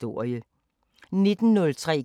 DR P4 Fælles